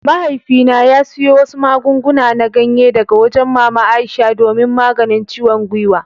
Mahaifina ya siyo wasu magunguna na ganye daga wajen mama Aisha domin maganin ciwon gwiwa.